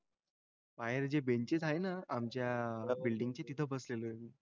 बाहेर जी बेंचेस आहे ना आमच्या बिल्डिंगची तिथं बसलेलो आहे.